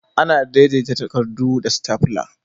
Ana daidaita takarɗu da "Stapler".